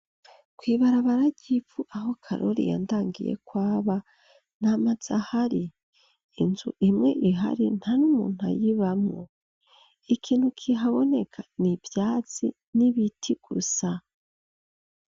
Kw'ibarabara ry'ivu aho Karori yandangiye ko aba nta mazu ahari. Inzu imwe ihari nta n'umuntu ayibawmwo, ikintu kihaboneka ni ivyatsi n'ibiti gusa.